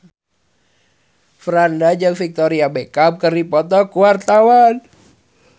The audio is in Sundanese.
Franda jeung Victoria Beckham keur dipoto ku wartawan